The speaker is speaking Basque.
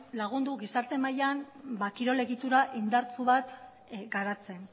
lagundu gizarte mailan kirol egitura indartsu bat garatzen